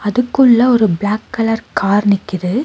அதுக்குள்ள ஒரு black colour car நிக்கிது.